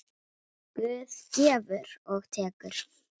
Guð gefur og tekur.